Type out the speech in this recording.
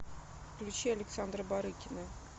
включи александра барыкина